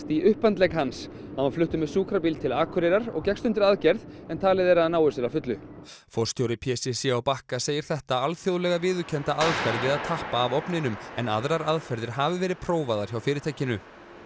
í upphandlegg hans hann var fluttur með sjúkrabíl til Akureyrar og gekkst undir aðgerð en talið er að hann nái sér að fullu forstjóri p c c á Bakka segir þetta alþjóðlega viðurkennda aðferð við að tappa af ofninum en aðrar aðferðir hafi verið prófaðar hjá fyrirtækinu